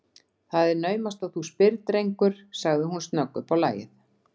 Það er naumast þú spyrð, drengur sagði hún snögg uppá lagið.